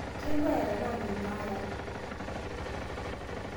Kailure tana mainauara